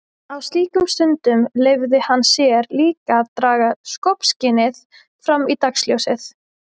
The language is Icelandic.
Á slíkum stundum leyfði hann sér líka að draga skopskynið fram í dagsljósið.